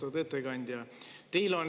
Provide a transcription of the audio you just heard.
Austatud ettekandja!